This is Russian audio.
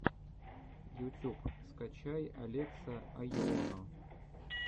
ютюб скачай алекса айоно